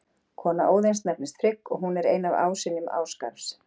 Kona Óðins nefnist Frigg og hún er ein af ásynjum Ásgarðs.